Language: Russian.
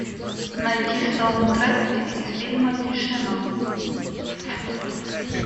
найти саундтрек из фильма тишина